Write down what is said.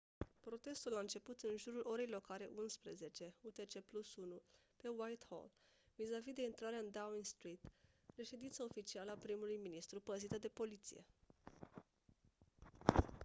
protestul a început în jurul orei locale 11:00 utc+1 pe whitehall vizavi de intrarea în downing street reședința oficială a primului ministru păzită de poliție